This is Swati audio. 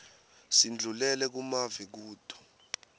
sindlulele kumave kuto